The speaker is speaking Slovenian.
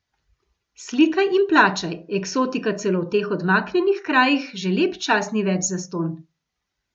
Slikaj in plačaj, eksotika celo v teh odmaknjenih krajih že lep čas ni več zastonj.